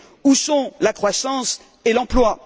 Où sont la croissance et l'emploi?